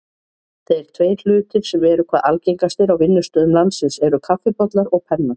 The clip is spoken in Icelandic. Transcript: Þeir tveir hlutir sem eru hvað algengastir á vinnustöðum landsins eru kaffibollar og pennar.